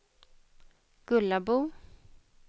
Gullabo